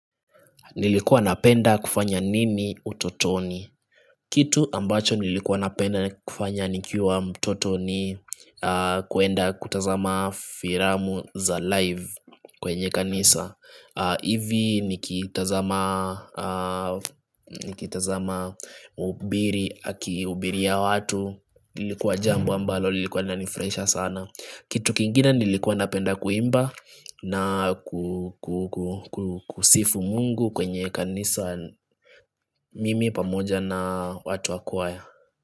Nilikuwa napenda kufanya nini utotoni Kitu ambacho nilikuwa napenda kufanya nikiwa mtoto ni kuenda kutazama firamu za live kwenye kanisa Ivi nikitazama nikitazama ubiri akiubiria watu ilikuwa jambo ambalo lilikuwa nani fraisha sana Kitu kingine nilikuwa napenda kuimba na ku ku ku ku kusifu Mungu kwenye kanisa mimi pamoja na watu wakwaya.